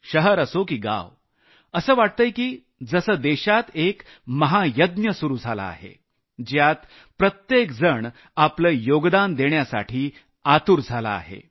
शहर असो की गाव असं वाटतंय की जसं देशात एक महायज्ञ सुरू झाल आहे ज्यात प्रत्येक जण आपलं योगदान देण्यासाठी आतूर झाला आहे